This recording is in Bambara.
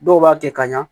Dɔw b'a kɛ ka ɲa